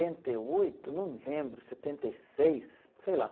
e oito, não me lembro, setenta e seis, sei lá.